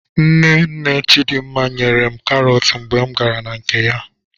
Nne nne Chidimma nyere m karọt mgbe m gara na nke ya.